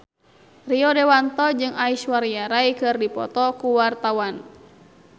Rio Dewanto jeung Aishwarya Rai keur dipoto ku wartawan